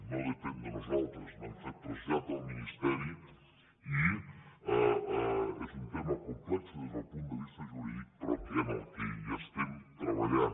no depèn de nosaltres n’hem fet trasllat al ministeri i és un tema complex des del punt de vista jurídic però que hi estem treballant